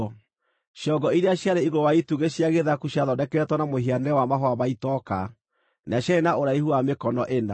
Ciongo iria ciarĩ igũrũ wa itugĩ cia gĩthaku ciathondeketwo na mũhianĩre wa mahũa ma itoka, na ciarĩ na ũraihu wa mĩkono ĩna.